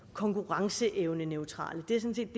konkurrenceevneneutrale det er sådan